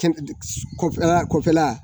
Kɔfɛla kɔfɛla